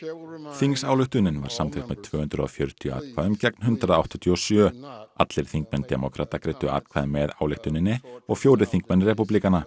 þingsályktunin var samþykkt með tvö hundruð og fjörutíu atkvæðum gegn hundrað áttatíu og sjö allir þingmenn demókrata greiddu atkvæði með ályktuninni og fjórir þingmenn repúblikana